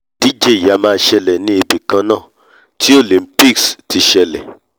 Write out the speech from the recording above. ìdíjẹ yìí a máa ṣẹlẹ̀ ní ibìkannáà tí olympics olympics ti ṣẹlè